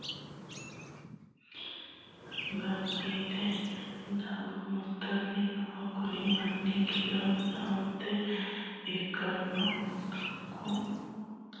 Kuri adawu agaraanonna afantino gashaano gamba yite doobo murtanni no. Kunni manni kiironsa onte ikitanno antunku miteenni ganba yite mitimate amade murtanni no